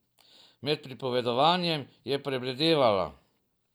Med pripovedovanjem je prebledevala.